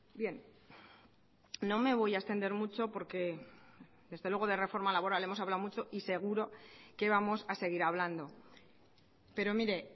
bien no me voy a extender mucho porque desde luego de reforma laboral hemos hablado mucho y seguro que vamos a seguir hablando pero mire